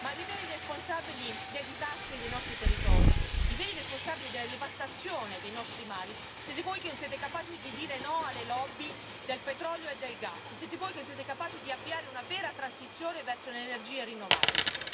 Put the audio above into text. Ma i veri responsabili dei disastri dei nostri territori, i veri responsabili della devastazione dei nostri mari siete voi che non siete capaci di dire no alle lobby del petrolio e del gas, siete voi che non siete capaci di avviare una vera transizione verso le energie rinnovabili.